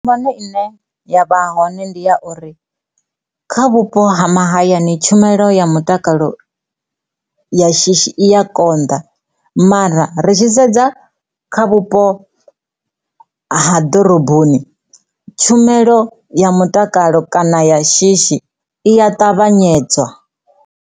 Phambano ine ya vha hone ndi ya uri kha vhupo ha mahayani tshumelo ya mutakalo ya shishi i ya konḓa mara ri tshi sedza kha vhupo ha ḓoroboni tshumelo ya mutakalo kana ya shishi i ya ṱavhanyedza.